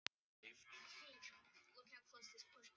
Ég má ekki leyfa mér að hugsa um börnin okkar.